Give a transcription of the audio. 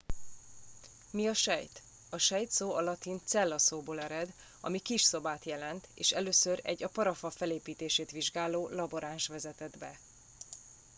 "mi a sejt? a sejt szó a latin "cella" szóból ered ami "kis szobát" jelent és először egy a parafa felépítését vizsgáló laboráns vezetett be.